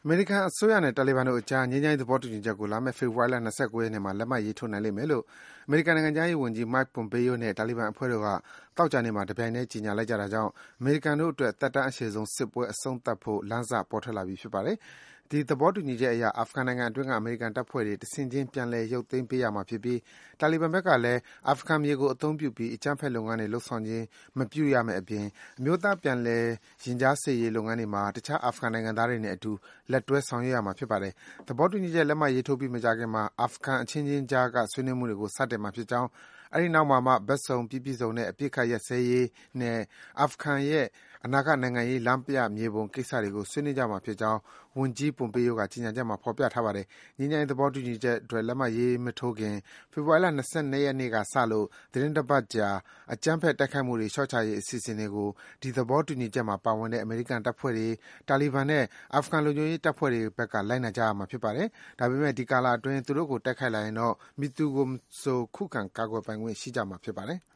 မေရိကန်အစိုးရနဲ့ တာလီဘန်တို့အကြား ငြိမ်းချမ်းရေး သဘောတူညီချက်ကို လာမယ့် ဖေဖော်ဝါရီ ၂၉ ရက်နေ့မှာ လက်မှတ်ရေးထိုးနိုင်မယ်လို့ အမေရိကန်နိုင်ငံခြားရေးဝန်ကြီး Mike Pompeo နဲ့ တာလီဘန်အဖွဲ့တို့က သောကြာနေ့မှာ တပြိုင်ထဲ ကြေညာလိုက်ကြတာကြောင့် အမေရိကန်တို့အတွက် သက်တမ်းအရှည်ဆုံး စစ်ပွဲ အဆုံးသတ်ဖို့ လမ်းစ ပေါ်ထွက်လာပြီ ဖြစ်ပါတယ်။ ဒီ သဘောတူညီချက်အရ အာဖဂန်နိုင်ငံအတွင်းက အမေရိကန်တပ်ဖွဲ့တွေ တဆင့်ခြင်း ပြန်လည် ရုပ်ပေးရမှာဖြစ်ပြီး တာလီဘန်ဘက်ကလည်း အာဖဂန်မြေကို အသုံးပြုပြီး အကြမ်းဖက်လုပ်ငန်းတွေ လုပ်ဆောင်ခြင်း မပြုရမယ့်အပြင် အမျိုးသား ပြန်လည် ရင်ကြားစေ့ရေးလုပ်ငန်းတွေမှာ တခြား အာဖဂန်နိုင်ငံသားတွေနဲ့အတူ လက်တွဲ ဆောင်ရွက်ရမှာ ဖြစ်ပါတယ်။ သဘောတူညီချက် လက်မှတ်ရေးထိုးပြီး မကြာခင်မှာ အာဖဂန်အခြင်းခြင်းကြားက ဆွေးနွေးမှုတွေကို စတင်မှာဖြစ်ကြောင်း၊ အဲဒီနောက်မှာမှ ဘက်စုံ ပြီးပြည့်စုံတဲ့ အပစ်အခတ် ရပ်စဲရေးနဲ့ အာဖဂန်ရဲ့ အနာဂတ်နိုင်ငံရေး လမ်းပြမြေပုံကိစ္စတွေကို ဆွေးနွေးကြမှာဖြစ်ကြောင်း ဝန်ကြီး Pompeo ရဲ့ ကြေညာချက်မှာ ဖော်ပြထားပါတယ်။ ငြိမ်းချမ်းရေး သဘောတူညီချက်အတွက် လက်မှတ်မရေးထိုးခင် ဖေဖော်ဝါရီလ ၂၂ ရက်နေ့ကစလို့ သီတင်း တပတ်ကြာ အကြမ်းဖက် တိုက်ခိုက်မှုတွေ လျော့ချရေးအစီအစဉ်တွေကို ဒီ သဘောတူညီချက်မှာ ပါဝင်တဲ့ အမေရိကန်တပ်ဖွဲ့တွေ၊ တာလီဘန်နဲ့ အာဖဂန် လုံခြုံရေးတပ်ဖွဲ့တွေဘက်က လိုက်နာကြရမှာ ဖြစ်ပါတယ်။ ဒါပေမယ့် ဒီကာလအတွင်း သူတို့ကို တိုက်ခိုက်လာရင်တော့ မည်သူမဆို ကိုယ့်ကိုကိုယ် ခုခံပိုင်ခွင့် ရှိမှာ ဖြစ်ပါတယ်။